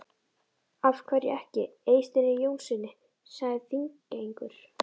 Af hverju ekki Eysteini Jónssyni, sagði Þingeyingur.